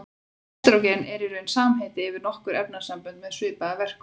Estrógen er í raun samheiti yfir nokkur efnasambönd með svipaða verkun.